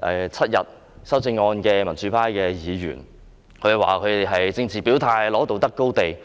侍產假修訂為7天的民主派議員，指我們是政治表態，爭取道德高地。